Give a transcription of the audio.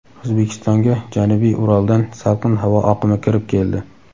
O‘zbekistonga janubiy Uraldan salqin havo oqimi kirib keldi.